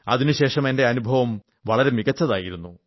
അതിനുശേഷം എന്റെ അനുഭവം വളരെ മികച്ചതായിരുന്നു